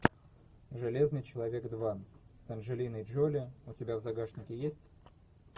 железный человек два с анджелиной джоли у тебя в загашнике есть